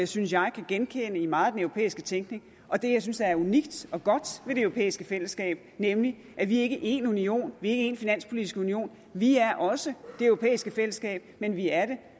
synes jeg kan genkende i meget af den europæiske tænkning og det jeg synes der er unikt og godt ved det europæiske fællesskab nemlig at vi er ikke én union vi er ikke en finanspolitisk union vi er også det europæiske fællesskab men vi er det